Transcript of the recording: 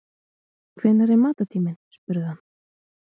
Hvenær er matartíminn spurði hann.